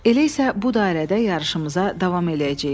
Elə isə bu dairədə yarışımıza davam eləyəcəyik.